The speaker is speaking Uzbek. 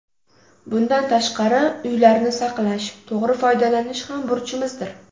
Bundan tashqari, uylarni saqlash, to‘g‘ri foydalanish ham burchimizdir.